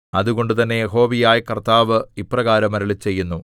അതുകൊണ്ട് തന്നെ യഹോവയായ കർത്താവ് ഇപ്രകാരം അരുളിച്ചെയ്യുന്നു